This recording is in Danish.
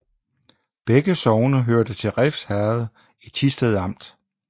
Begge sogne hørte til Refs Herred i Thisted Amt